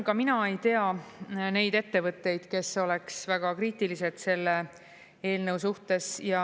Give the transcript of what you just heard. Ka mina ei tea neid ettevõtteid, kes oleks väga kriitilised selle eelnõu suhtes.